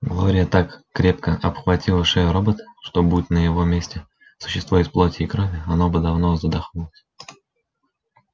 глория так крепко обхватила шею робота что будь на его месте существо из плоти и крови оно бы давно задохнулось